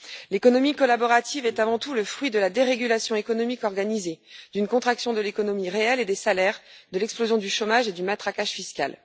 L'économie collaborative est avant tout le fruit de la dérégulation économique organisée, d'une contraction de l'économie réelle et des salaires, de l'explosion du chômage et du matraquage fiscal.